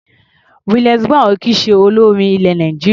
Williams Brown ò kì í ṣe olórin ilẹ̀ Nàìjíríà.